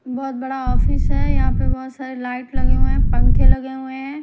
बहुत बड़ा ऑफिस है यहां पे बहुत सारे लाइट लगे हुए हैं पंखे लगे हुए हैं।